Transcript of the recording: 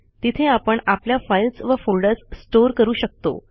तिथे आपण आपल्या फाईल्स व फोल्डर्स स्टोर करू शकतो